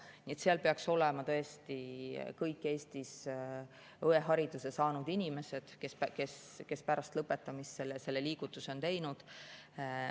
Nii et seal peaks olema tõesti kõik Eestis õehariduse saanud inimesed, kes pärast lõpetamist selle liigutuse on teinud.